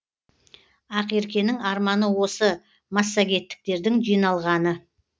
ақеркенің арманы осы массагеттіктердің жиналғаны